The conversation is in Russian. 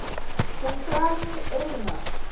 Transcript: центральный рынок